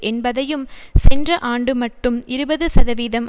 என்பதையும் சென்ற ஆண்டு மட்டும் இருபது சதவீதம்